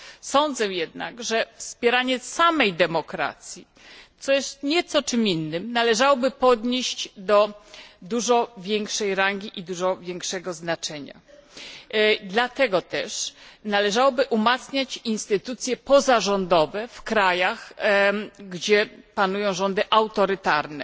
Sądzę jednak, że wspieranie samej demokracji, co jest nieco czym innym, należałoby podnieść do dużo większej rangi i nadać im dużo większego znaczenia. Dlatego też należałoby umacniać instytucje pozarządowe w krajach, gdzie panują rządy autorytarne.